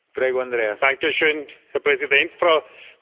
Herr Präsident, Frau Kommissionspräsidentin!